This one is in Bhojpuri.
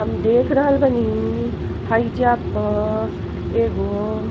हम देख रहल बानी हईजा प एगो --